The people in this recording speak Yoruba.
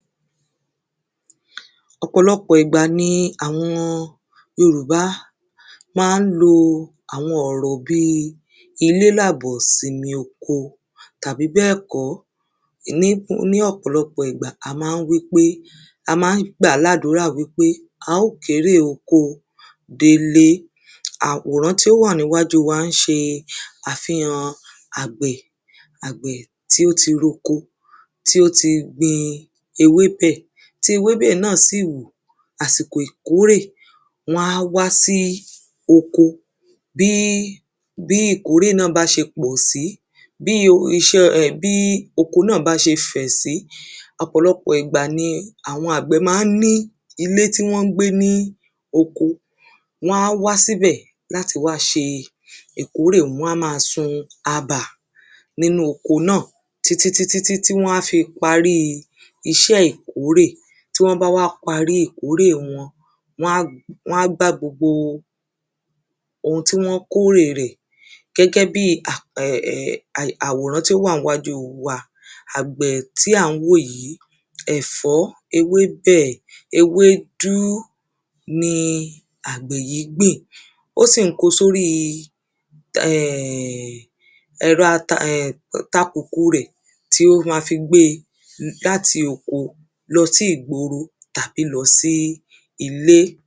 ọ̀pọ̀lọpọ̀ ìgbà ni àwọn yorùbá máa ń lọ àwọn ọ̀rọ̀ bíi ilé làbọ̀simi oko tàbí bẹ́ẹ̀kọ́ ní ọ̀pọ̀lọpọ̀ ìgbà ni a máa ń wí pé a máa ń gbàá láàdúrà pé a ó kérè oko délé àwòrán tí ó wà níwájú wa ń ṣe àfihàn àgbẹ̀ tí ó ti roko, tí ó ti gbin ewébẹ̀ tí ewébẹ̀ náà sì wù àsìkò ìkórè wọ́n á wá sí oko bí ìkórè náà bá ṣe pọ̀sí, bí iṣé bí oko náà bá ṣe fẹ̀sí ọ̀pọ̀lọpọ̀ ìgbà ni àwọn àgbẹ̀ máa ń ní ilé tí wón ń gbé ní oko wọ́n á wá síbẹ̀ láti wá ṣe ìkórè, wọ́n á máa sun abà nínú oko náà títítítítí wọ́n á fi parí iṣẹ́ ìkórè tí wọ́n bá wá parí ìkórè wọn, wọ́n á gbá gbogbo ohun tí wọ́n kórè rẹ̀ gẹ́gẹ́ bíi àwòrán tí ó wà níwájú wa àgbẹ̀ tí à ń wò yí, ẹ̀fọ́, ewébẹ̀, ewédú ni àgbẹ̀ yí gbìn ó sì ń kó o sóri ẹ̀rọ takùkù rẹ̀ tí ó máa fí gbé e láti oko lọ sí ìgboro tàbí lọ sí ilé